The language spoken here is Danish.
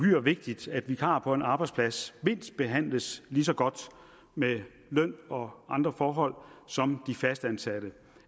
uhyre vigtigt at vikarer på en arbejdsplads behandles lige så godt med løn og andre forhold som de fastansatte